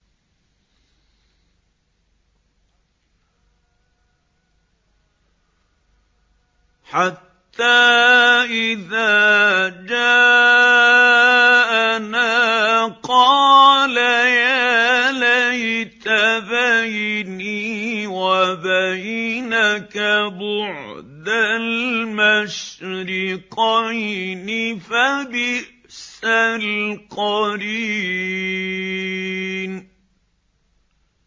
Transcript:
حَتَّىٰ إِذَا جَاءَنَا قَالَ يَا لَيْتَ بَيْنِي وَبَيْنَكَ بُعْدَ الْمَشْرِقَيْنِ فَبِئْسَ الْقَرِينُ